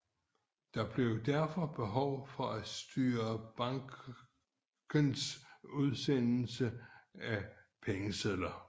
Der blev derfor behov for at styre bankens udstedelse af pengesedler